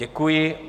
Děkuji.